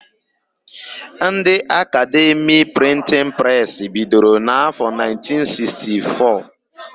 Ndị Akademi Prịntịn presị bidoro n'afọ 1964.